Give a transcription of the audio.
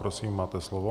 Prosím, máte slovo.